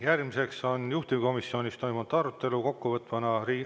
Järgmiseks on juhtivkomisjonis toimunud arutelu kokkuvõte.